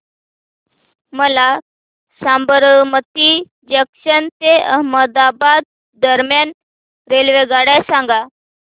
मला साबरमती जंक्शन ते अहमदाबाद दरम्यान रेल्वेगाड्या सांगा